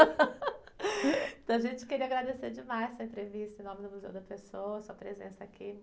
Então, gente, queria agradecer demais essa entrevista em nome do Museu da Pessoa, sua presença aqui.